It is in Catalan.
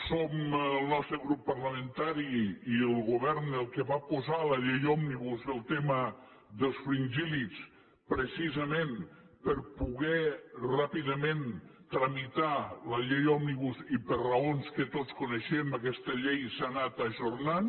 som el nostre grup parlamentari i el govern els qui vam posar a la llei òmnibus el tema dels fringíl·lids precisament per poder ràpidament tramitar la llei òmnibus i per raons que tots coneixem aquesta llei s’ha anat ajornant